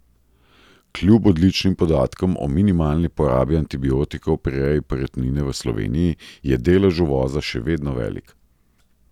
Kljub odličnim podatkom o minimalni porabi antibiotikov pri reji perutnine v Sloveniji je delež uvoza še vedno velik.